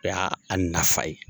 O y'a nafa ye.